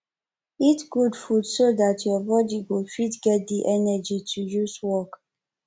eat good food so dat your body go fit get di energy to use work